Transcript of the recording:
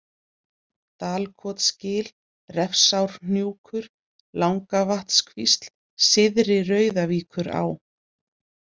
Dalkotsgil, Refsárhnjúkur, Langavatnskvísl, Syðri-Rauðavíkurá